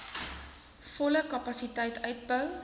volle kapasiteit uitbou